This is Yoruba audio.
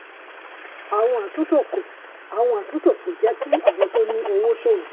àwọn àtúntò kò àwọn àtúntò kò jẹ́ kí àwọn tó ní owó ṣòwò.